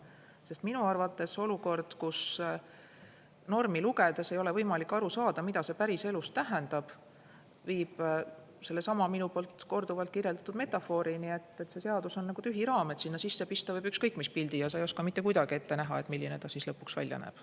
Sest olukord, kus normi lugedes ei ole võimalik aru saada, mida see päriselus tähendab, viib sellesama minu poolt korduvalt metafoorini: see seadus on nagu tühi raam, sinna sisse võib pista ükskõik mis pildi ja sa ei oska mitte kuidagi ette näha, milline ta siis lõpuks välja näeb.